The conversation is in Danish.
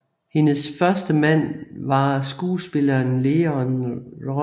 Hendes første mand var skuespilleren Leon Russom